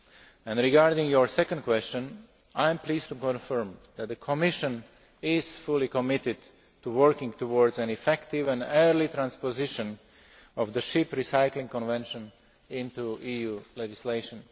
And, regarding your second question, I am pleased to confirm that the Commission is fully committed to working towards an effective and early transposition of the Ship Recycling Convention into EU legislation.